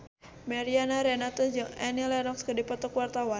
Mariana Renata jeung Annie Lenox keur dipoto ku wartawan